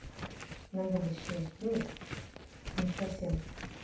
на будущее ну не совсем